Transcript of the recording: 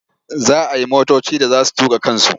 Za a yi motoci da za su tuƙa kansu.